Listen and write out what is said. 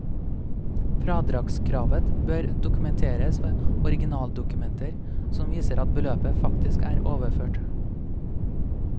Fradragskravet bør dokumenteres ved originaldokumenter som viser at beløpet faktisk er overført.